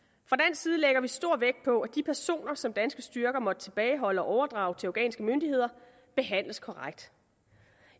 side lægger vi stor vægt på at de personer som danske styrker måtte tilbageholde og overdrage til afghanske myndigheder behandles korrekt